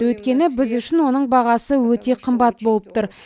өйткені біз үшін оның бағасы өте қымбат болып тұр